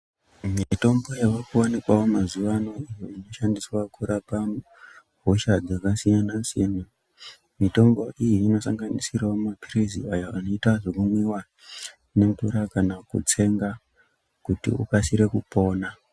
Imwe mitombo yakuwanikawo mazuvano inoshandiswa kurapa hosha dzinosiyana siyana mitombo iyi inosanganisirawo mapilizi aya anoita zvekumwiwa kana kutsenga kuti ukarisire kupona .